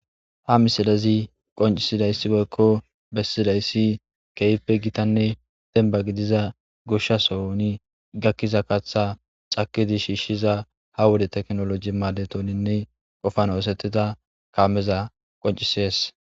Ha misilezi qoncisidayssigoykko bessidayssi keeype gitanne denba gidiza gushshasooni gakkiza katha cakidi shiishshiza ha wode teknoloji maadetoninne qofan oosetita kaameza qoncisees.